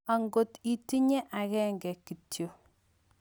Ngot itinye akenge kityo.